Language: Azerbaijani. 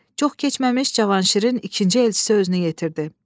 Çox keçməmiş Cavanşirin ikinci elçisi özünü yetirdi.